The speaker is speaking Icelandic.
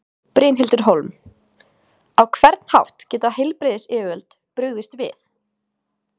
Brynhildur Hólm: Á hvern hátt geta heilbrigðisyfirvöld brugðist við?